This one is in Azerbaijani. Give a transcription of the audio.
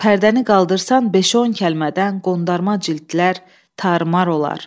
Pərdəni qaldırsan beş-on kəlmədən qondarma cildlər tarmar olar.